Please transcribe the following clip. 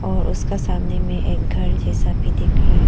और उसका सामने में एक घर जैसा भी दिख रहा है।